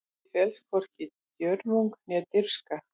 Í því felst hvorki djörfung né dirfska.